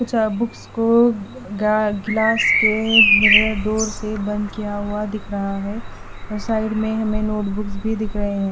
कुछ अ बुक्स को गा गिलास के मिरर डोर से बंद किया हुआ दिख रहा है और साइड में हमें नोट बुक्स भी दिख रहे हैं।